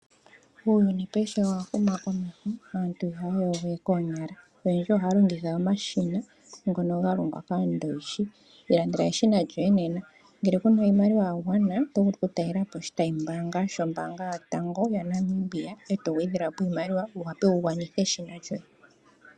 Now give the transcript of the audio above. Uuyuni paife owa huma komeho. Aantu ihaya yogo we koonyala. Oyendji ohaya longitha omashina ngono ga longwa kAandowishi. Ilandela eshina lyoye nena, ngele ku na iimaliwa ya gwana, oto vulu okutalela po oshitayimbaanga shombaanga yotango yopashigwana, e to gwedhelwa po iimaliwa wu wape wu gwanithe eshina lyoye.